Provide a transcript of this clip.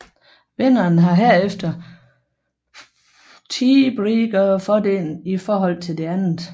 Vinderen har herefter tiebreakerfordelen i forhold til det andet